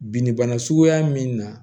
Binnibana suguya min na